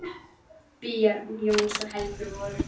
Börn Jóns og Helgu voru